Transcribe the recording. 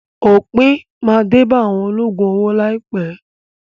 Òpin máa dé bá àwọn olóògùn owó láìpẹ́.